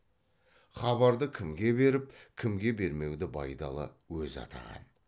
хабарды кімге беріп кімге бермеуді байдалы өзі атаған